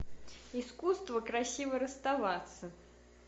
искусство красиво расставаться